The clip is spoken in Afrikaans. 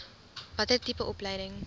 watter tipe opleiding